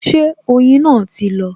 Ṣé oyin náà ti lọ?